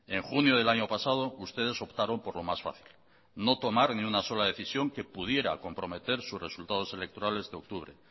en junio del año pasado ustedes optaron por lo más fácil no tomar ni una sola decisión que pudiera comprometer sus resultados electorales de octubre